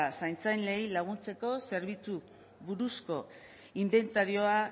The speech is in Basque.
zaintzailei laguntzeko zerbitzu buruzko inbentarioa